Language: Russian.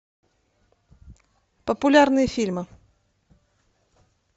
популярные фильмы